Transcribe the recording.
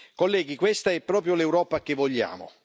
Colleghi, questa è proprio l'Europa che vogliamo.